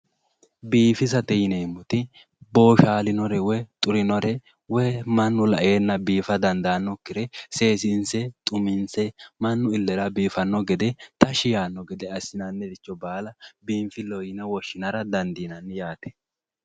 Biifisate yineemmoti boshalinore woyi xurinore woyi mannu laenna biifa dandanokkire seesise xuminse mannu ilera biifano gede tashshi yaano gede assinanniricho baala biinfileho yine woshshinara dandiinanni yaate.